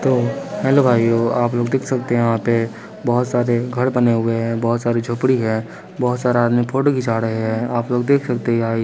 तो हेलो भाइयों आप लोग देख सकते हैं यहां पे बहुत सारे घर बने हुए हैं बहुत सारी झोपड़ी है बहुत सारा आदमी फोटो खींचा रहे हैं आप लोग देख सकते हैं गाई --